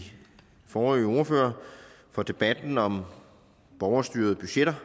de forrige ordførere for debatten om borgerstyrede budgetter